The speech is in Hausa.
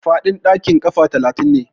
Faɗin ɗakin kafa talatin ne.